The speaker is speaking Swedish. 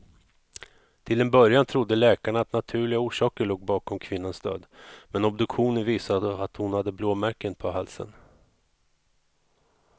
Till en början trodde läkarna att naturliga orsaker låg bakom kvinnans död, men obduktionen visade att hon hade blåmärken på halsen.